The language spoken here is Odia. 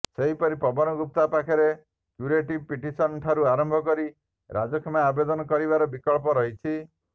ସେହିପରି ପବନ ଗୁପ୍ତା ପାଖରେ କ୍ୟୁରେଟିଭ ପିଟିସନ ଠାରୁ ଆରମ୍ଭ କରି ରାଜକ୍ଷମା ଆବେଦନ କରିବାର ବିକଳ୍ପ ରହିଛି